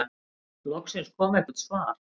Loksins kom eitthvert svar.